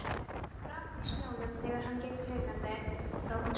Það brakaði í snjónum þegar hann gekk hikandi frá húsinu.